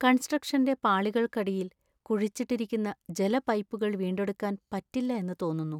കൺസ്ട്രക്ഷന്‍റെ പാളികൾക്കടിയിൽ കുഴിച്ചിട്ടിരിക്കുന്ന ജല പൈപ്പുകള്‍ വീണ്ടെടുക്കാന്‍ പറ്റില്ല എന്ന് തോന്നുന്നു.